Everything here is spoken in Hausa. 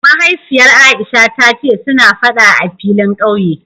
Mahaifiyar Aisha ta ce suna Fada a filin kauye